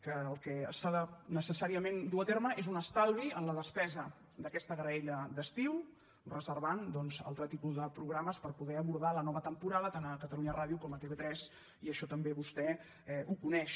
que el que necessàriament s’ha de dur a terme és un estalvi en la despesa d’aquesta graella d’estiu i reservar doncs altre tipus de programes per poder abordar la nova temporada tant a catalunya ràdio com a tv3 i això també vostè ho coneix